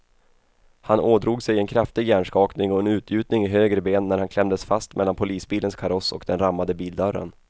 Han ådrog sig en kraftig hjärnskakning och en utgjutning i höger ben när han klämdes fast mellan polisbilens kaross och den rammade bildörren.